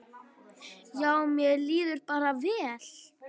Já, mér líður bara vel.